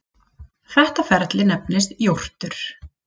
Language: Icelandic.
Þetta ferli nefnist jórtur.